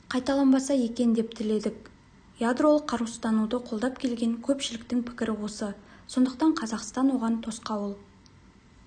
қайталанбаса екен деп тіледік ядролық қарусыздануды қолдап келген көпшіліктің пікірі осы сондықтан қазақстан оған тосқауыл